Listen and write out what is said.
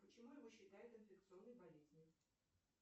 почему его считают инфекционной болезнью